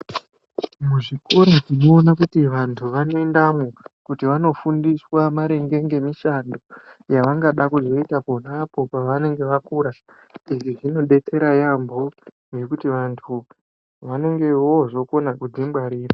Muzvikora tinoona kuti vantu vanoendawo kuti vanofundiswa maringe nemushando yavangada kuzoita ponapo pavanenge vakura izvi zvinodetsera yambo ngekuti vantu vanonge vozokoma kudzingwarira.